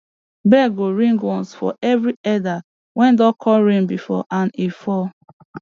bell go ring once for every elder wey don call rain before and e fall